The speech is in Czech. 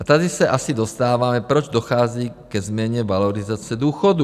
A tady se asi dostáváme , proč dochází ke změně valorizace důchodů.